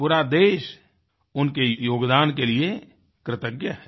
पूरा देश उनके योगदान के लिए कृतज्ञ है